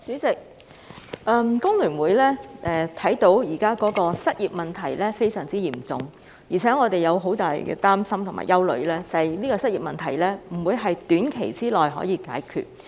主席，香港工會聯合會看到，失業問題現時非常嚴重，而我們也相當擔心和憂慮，失業問題不會在短期內得到解決。